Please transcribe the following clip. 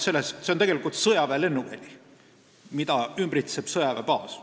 See on sõjaväelennuväli, mida ümbritseb sõjaväebaas.